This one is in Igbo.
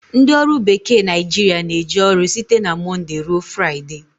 Ndị ọrụ bekee Naijiria na-eje ọrụ site na monde ruo Friday